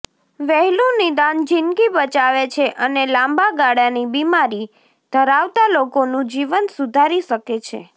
વહેલું નિદાન જીંદગી બચાવે છે અને લાંબા ગાળાની બીમારી ધરાવતા લોકોનું જીવન સુધારી શકે છે